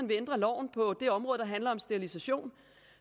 vil ændre loven på det område der handler om sterilisation